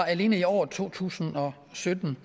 alene i året to tusind og sytten